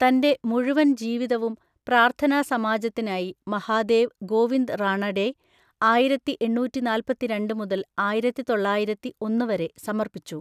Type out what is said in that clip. തന്റെ മുഴുവൻ ജീവിതവും പ്രാർത്ഥനാ സമാജത്തിനായി മഹാദേവ് ഗോവിന്ദ് റാണഡെ (ആയിരത്തിഎണ്ണൂറ്റിനാല്പത്തിരണ്ട് മുതൽ ആയിരത്തിതൊള്ളയിരത്തിഒന്ന് വരെ) സമർപ്പിച്ചു.